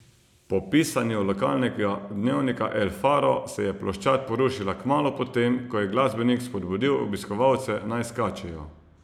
Po pisanju lokalnega dnevnika El faro se je ploščad porušila kmalu po tem, ko je glasbenik spodbudil obiskovalce, naj skačejo.